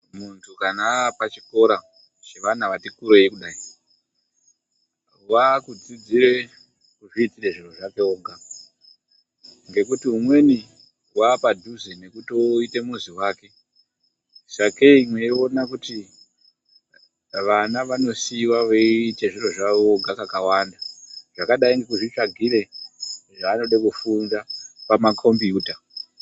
Muntu kana aapachikora chevana vati kurei kudai, wakudzidzira kuzviitira zviro zvake oga ngekuti umweni waapadhuze nekuita mhuzi wake. Sakei meeiona kuti vana vanosiiwa veita zviro zvavo voga kakawanda zvakadai nekuzvitsvagire zvavanoda kufunda pamakombiyuta.